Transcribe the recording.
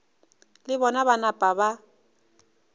le bona ba napa ba